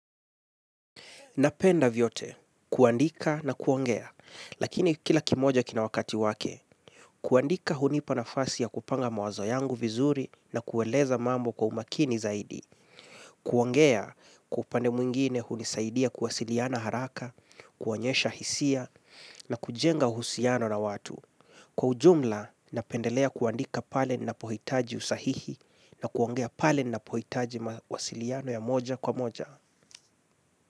Na penda vyote, kuandika na kuongea, lakini kila kimoja kina wakati wake, kuandika hunipa nafasi ya kupanga mawazo yangu vizuri na kueleza mambo kwa umakini zaidi, kuongea kwa upande mwingine hunisaidia kuwasiliana haraka, kuonyesha hisia na kujenga uhusiano na watu. Kwa ujumla, na pendelea kuandika pale ninapohitaji usahihi na kuongea pal nina pohitaji mawasiliano ya moja kwa moja.